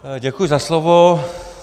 Děkuji za slovo.